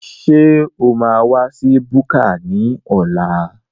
Ṣé o máa wa sí búkà ní ọ̀la?